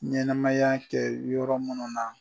Ɲɛnɛmaya kɛ yɔrɔ munnu na.